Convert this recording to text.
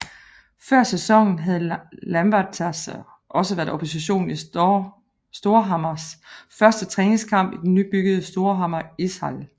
Før sæsonen havde Lambertseter også været opposition i Storhamars første træningskamp i den nybyggede Storhamar Ishall